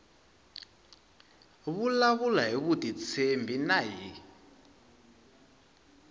vulavula hi vutitshembi na hi